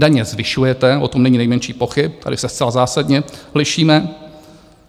Daně zvyšujete, o tom není nejmenších pochyb, tady se zcela zásadně lišíme.